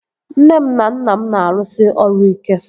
Nne m na nna m na-arụsi ọrụ ike